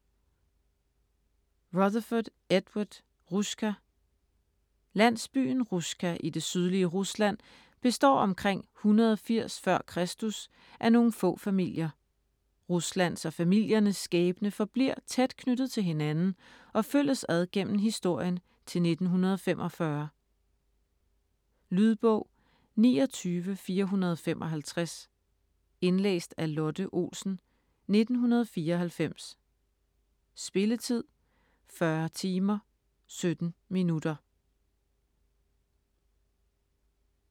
Rutherfurd, Edward: Russka Landsbyen Russka i det sydlige Rusland består omkring 180 f.Kr. af nogle få familier. Ruslands og familiernes skæbne forbliver tæt knyttet til hinanden og følges ad gennem historien til 1945. Lydbog 29455 Indlæst af Lotte Olsen, 1994. Spilletid: 40 timer, 17 minutter.